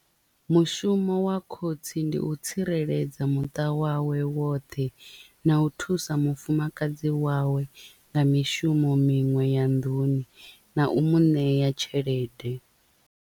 Mushumo wa khotsi ndi u tsireledza muṱa wawe woṱhe na u thusa mufumakadzi wawe nga mishumo miṅwe ya nḓuni na u mu ṋea tshelede.